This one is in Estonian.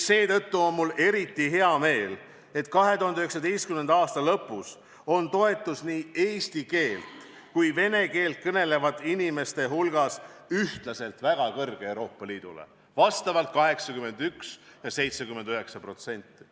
Seetõttu on mul eriti hea meel, et 2019. aasta lõpus on toetus Euroopa Liidule nii eesti kui ka vene keelt kõnelevate inimeste hulgas ühtlaselt väga kõrge: vastavalt 81% ja 79%.